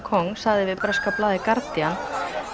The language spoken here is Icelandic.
Kong sagði við breska blaðið Guardian